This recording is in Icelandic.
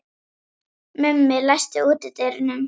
Mummi, læstu útidyrunum.